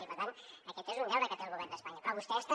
i per tant aquest és un deure que té el govern d’espanya però vostès també